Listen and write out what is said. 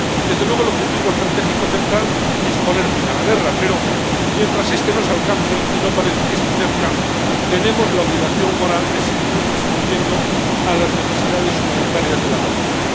Desde luego, el objetivo estratégico central es poner fin a la guerra, pero mientras este no se alcance ―y no parece que esté cerca―, tenemos la obligación moral de seguir respondiendo a las necesidades humanitarias de la población.